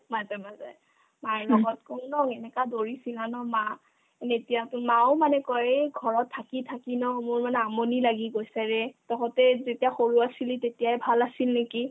মাজে মাজে মাৰ আগত কৈ ন এনেকা দৌৰিছিলা ন মা তেতিয়াতো মায়ো মানে কই এই ঘৰত থাকি থাকি ন মোৰ মানে আমনি লাগি গৈছেৰে তহঁতে যেতিয়া সৰু আছিলি তেতিয়াই ভাল আছিল নেকি ?